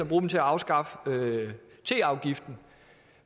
bruge dem til at afskaffe teafgiften